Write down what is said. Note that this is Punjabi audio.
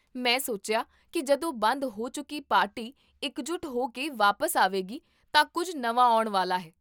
ਮੈਂ ਸੋਚਿਆ ਕੀ ਜਦੋਂ ਬੰਦ ਹੋ ਚੁੱਕੀ ਪਾਰਟੀ ਇਕ ਜੁੱਟ ਹੋ ਕੇ ਵਾਪਸ ਆਵੇਗੀ ਤਾਂ ਕੁੱਝ ਨਵਾਂ ਆਉਣ ਵਾਲਾ ਹੈ